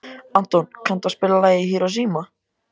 Anton, kanntu að spila lagið „Hiroshima“?